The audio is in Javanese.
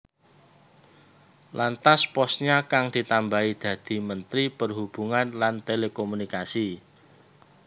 Lantas posnya kang ditambahi dadi Menteri Perhubungan lan Telekomunikasi